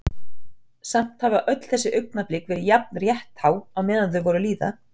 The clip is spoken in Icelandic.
Samt hafa öll þessi augnablik verið jafn rétthá meðan þau voru að líða.